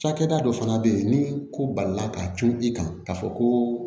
Cakɛda dɔ fana bɛ yen ni ko balila ka cun i kan k'a fɔ ko